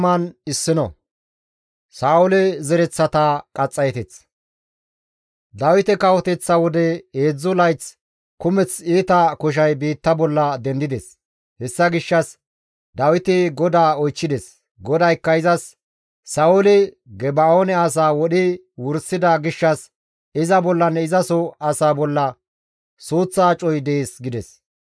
Dawite kawoteththa wode heedzdzu layth kumeth iita koshay biitta bolla dendides; hessa gishshas Dawiti GODAA oychchides; GODAYKKA izas, «Sa7ooli Geba7oone asaa wodhi wursida gishshas iza bollanne izaso asaa bolla suuththa acoy dees» gides.